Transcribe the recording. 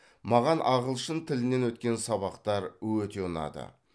маған ағылшын тілінен өткен сабақтар өте ұнады